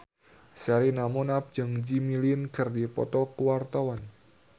Sherina Munaf jeung Jimmy Lin keur dipoto ku wartawan